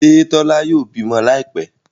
Ṣe Tola yóò bímọ Láìpé?